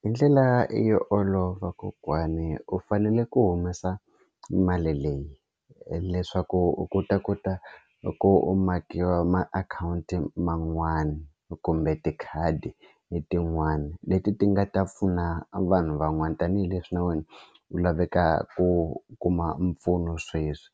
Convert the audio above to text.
Hi ndlela yo olova kokwani u fanele ku humesa mali leyi leswaku u kota ku ta ku makiwa makhawunti man'wani kumbe tikhadi hi tin'wana leti ti nga ta pfuna vanhu van'wana tanihileswi na wena u laveka ku kuma mpfuno sweswi